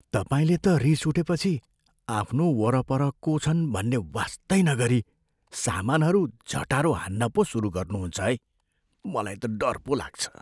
तपाईँले त रिस उठेपछि आफ्नो वरपर को छन् भन्ने वास्तै नगरी सामानहरू झटारो हान्न पो सुरु गर्नु हुन्छ है। मलाई त डर पो लाग्छ।